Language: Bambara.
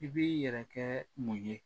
I b'i yɛrɛ kɛɛ mun ye?